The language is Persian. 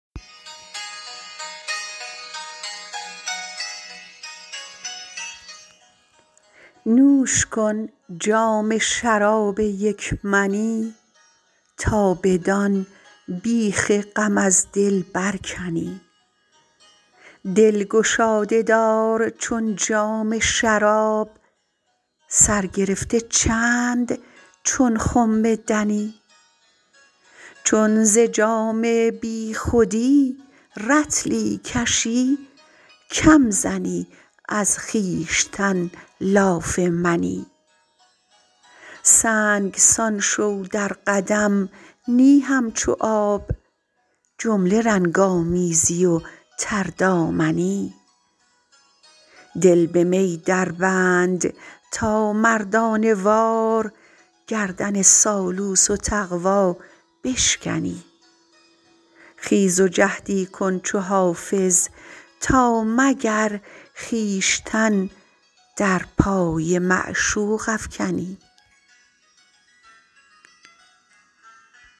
نوش کن جام شراب یک منی تا بدان بیخ غم از دل برکنی دل گشاده دار چون جام شراب سر گرفته چند چون خم دنی چون ز جام بی خودی رطلی کشی کم زنی از خویشتن لاف منی سنگسان شو در قدم نی همچو آب جمله رنگ آمیزی و تردامنی دل به می دربند تا مردانه وار گردن سالوس و تقوا بشکنی خیز و جهدی کن چو حافظ تا مگر خویشتن در پای معشوق افکنی